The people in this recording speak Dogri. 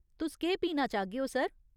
तुस केह् पीना चाह्गेओ, सर ?